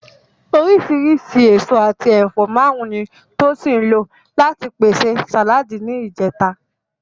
Oríṣìíríṣìí èso àti ẹ̀fọ́ márùn-ún ni Tosin lò láti pèsè sàláàdì ní ìjẹta